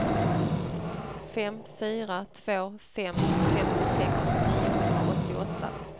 fem fyra två fem femtiosex niohundraåttioåtta